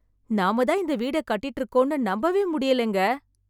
நாம தான் இந்த வீட கட்டிட்டு இருக்கோம்னு நம்பவே முடியலைங்க.